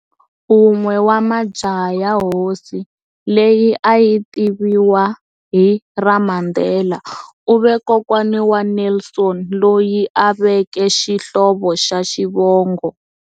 Un'we wa majaha ya hosi, leyi a yi tiviwa hi ra"Mandela", u ve kokwana wa Nelson, loyi a veke xihlovo xa Xivongo.